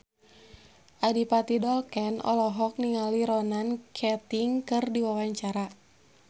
Adipati Dolken olohok ningali Ronan Keating keur diwawancara